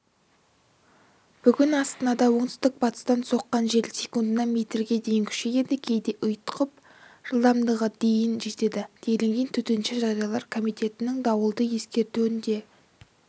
бүгін астанада оңтүстік-батыстан соққан жел секундына метрге дейін күшейеді кейде ұйытқып жылдамдығы дейін жетеді делінген төтенше жағдайлар комитетінің дауылды ескертуінде